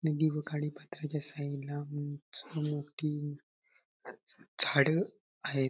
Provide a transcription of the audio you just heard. नदी व खाडी पात्राच्या साईडला उंच व मोठी झाड आहेत.